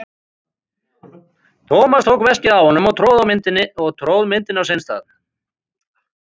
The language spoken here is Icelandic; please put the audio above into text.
Thomas tók veskið af honum og tróð myndinni á sinn stað.